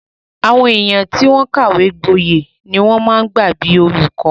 Àwọn èèyàn tó kàwé gbọyè ni wọ́n máa ń gbà bíi olùkọ́